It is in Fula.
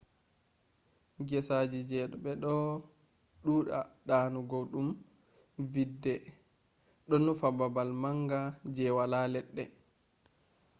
gesaji do be do duda donugo dum vidde” do nufa babal manga je wala ledde